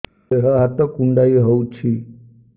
ଦେହ ହାତ କୁଣ୍ଡାଇ ହଉଛି